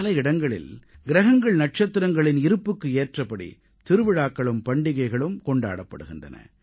பல இடங்களில் கிரகங்கள்நட்சத்திரங்களின் இருப்புக்கு ஏற்றபடி திருவிழாக்களும் பண்டிகைகளும் கொண்டாடப்படுகின்றன